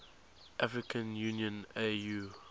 african union au